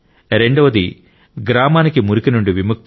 రెండవది గ్రామానికి మురికి నుండి విముక్తి